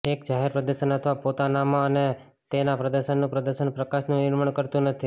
એક જાહેર પ્રદર્શન અથવા પોતાનામાં અને તેના પ્રદર્શનનું પ્રદર્શન પ્રકાશનનું નિર્માણ કરતું નથી